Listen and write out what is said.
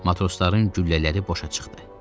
Matrosların güllələri boşa çıxdı.